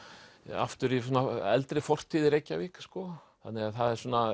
aftur í svona eldri fortíð í Reykjavík þannig að það er svona